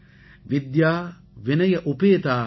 வித்யா வினய உபேதா ஹரதி